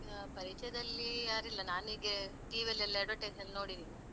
ಹಾ, ಪರಿಚಯದಲ್ಲಿ ಯಾರಿಲ್ಲ. ನನಿಗೆ TV ಯಲ್ಲಿ ಎಲ್ಲಾ advertise ನಲ್ಲಿ ನೋಡಿದ್ದೀನಿ, ಅಲ್ಲಿ ಅದೇ.